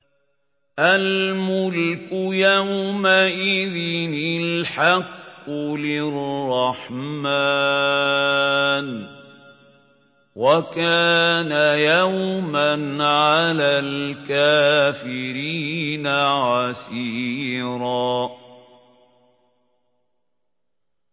الْمُلْكُ يَوْمَئِذٍ الْحَقُّ لِلرَّحْمَٰنِ ۚ وَكَانَ يَوْمًا عَلَى الْكَافِرِينَ عَسِيرًا